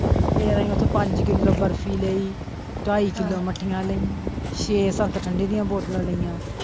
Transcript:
ਫਿਰ ਅਸੀਂ ਓਥੋਂ ਪੰਜ ਕਿੱਲੋ ਬਰਫੀ ਲਈ, ਢਾਈ ਕਿੱਲੋ ਮੱਠੀਆਂ ਲਈ ਛੇ ਸੱਤ ਠੰਡੇ ਦੀਆਂ ਬੋਤਲਾਂ ਲਈਆਂ।